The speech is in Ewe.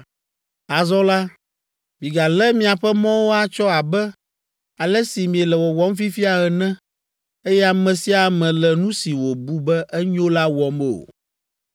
“Azɔ la, migalé miaƒe mɔwo atsɔ abe ale si miele wɔwɔm fifia ene, eye ame sia ame le nu si wòbu be enyo la wɔm o,